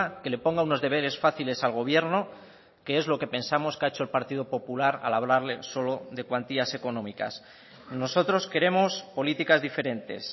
que le ponga unos deberes fáciles al gobierno que es lo que pensamos que ha hecho el partido popular al hablarle solo de cuantías económicas nosotros queremos políticas diferentes